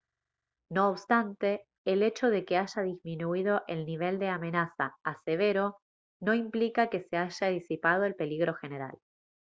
no obstante el hecho de que haya disminuido el nivel de amenaza a severo no implica que se haya disipado el peligro general»